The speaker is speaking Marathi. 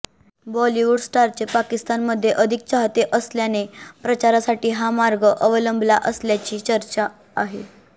बॉलिवूड स्टारचे पाकिस्तानमध्ये अधिक चाहते असल्याने प्रचारासाठी हा मार्ग अवलंबला असल्याची चर्चा आहे